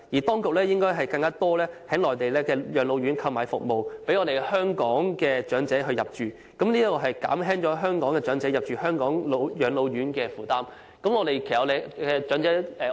當局應該在內地護老院購買更多宿位，讓香港長者入住，此舉可以減輕香港長者入住香港護老院舍的負擔。